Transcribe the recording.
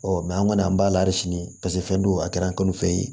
Ɔ an kɔni an b'a la hali sini paseke fɛn don a kɛra an kɔni fɛ yen